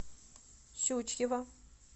щучьего